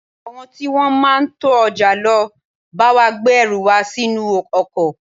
Àwọn tí wọn máa ń to ọjà ló bá wa gbé ẹrù wa sínú ọkọ̀.